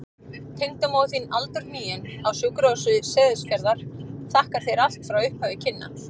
Tengdamóðir þín aldurhnigin, á Sjúkrahúsi Seyðisfjarðar, þakkar þér allt frá upphafi kynna.